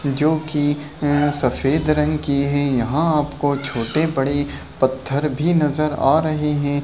जो की अ सफेद रंग की है यहाँ आपको छोटे-बड़े पत्थर भी नजर आ रहे हैं।